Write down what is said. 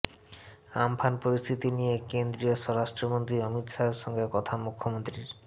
Amphan পরিস্থিতি নিয়ে কেন্দ্রীয় স্বরাষ্ট্রমন্ত্রী অমিত শাহের সঙ্গে কথা মুখ্যমন্ত্রীর